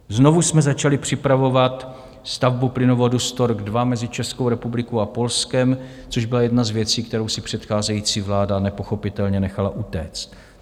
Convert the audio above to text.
Znovu jsme začali připravovat stavbu plynovodu Stork II mezi Českou republikou a Polskem, což byla jedna z věcí, kterou si předcházející vláda nepochopitelně nechala utéct.